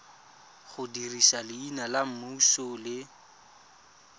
dirisa leina la semmuso le